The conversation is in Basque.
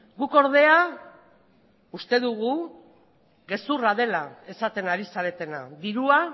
guk ordea uste dugu gezurra dela esaten ari zaretena dirua